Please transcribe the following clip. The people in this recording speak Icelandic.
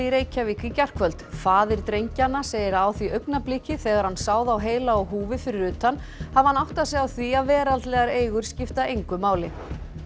í Reykjavík í gærkvöld faðir drengjanna segir að á því augnabliki þegar hann sá þá heila á húfi fyrir utan hafi hann áttað sig á því að veraldlegar eigur skipta engu máli